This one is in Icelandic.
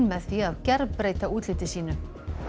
með því að gerbreyta útliti sínu